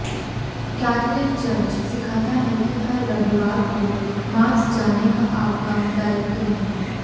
Catholic church सिखाता है कि हर रविवार को मास जाने का आपका दायित्व है